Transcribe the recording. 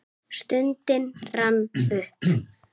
Stundin rann upp.